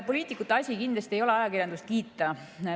Poliitikute asi kindlasti ei ole ajakirjandust kiita.